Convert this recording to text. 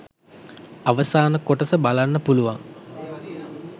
අවසාන කොටස බලන්න පුළුවන්.